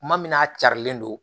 Kuma min n'a carilen don